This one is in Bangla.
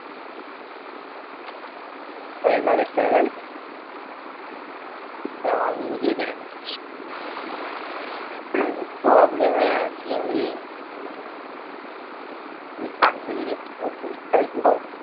calender দেখতে হবে তাইতো? হম দ্বারা আমি নিজেই দেখে নিচ্ছি হম problem এ আছি আমি এই certificate টার পরীক্ষা